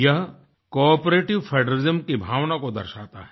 ये cooperative federalism की भावना को दर्शाता है